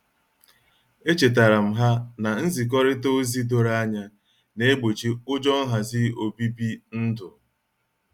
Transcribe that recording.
Echetaram ha na-nzikorita ozi doro anya na-egbochi ụjọ nhazi obibi ndu.